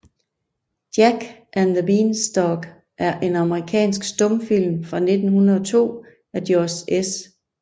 Jack and the Beanstalk er en amerikansk stumfilm fra 1902 af George S